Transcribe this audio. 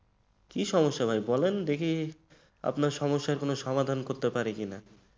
কি সমস্যা ভাই বলেন দেখি আপনার সমস্যার সমাধান করতে পারি কিনা।